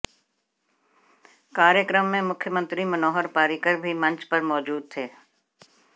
कार्यक्रम में मुख्यमंत्री मनोहर पर्रिकर भी मंच पर मौजूद थे